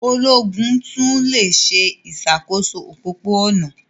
Ológun tún le se ìsàkóso òpópó-ònà